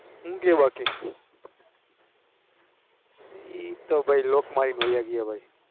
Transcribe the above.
હું કે બાકી એતો ભાઈ લોકો માયા કેવાય